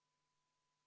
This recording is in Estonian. V a h e a e g